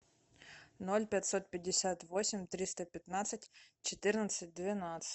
ноль пятьсот пятьдесят восемь триста пятнадцать четырнадцать двенадцать